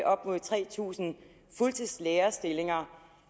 op mod tre tusind fuldtidslærerstillinger